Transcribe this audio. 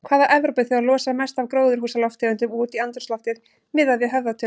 Hvaða Evrópuþjóð losar mest af gróðurhúsalofttegundum út í andrúmsloftið miðað við höfðatölu?